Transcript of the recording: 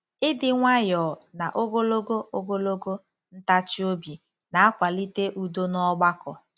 Ịdị nwayọọ na Ogologo Ogologo ntachi obi na-akwalite udo n'ọgbakọ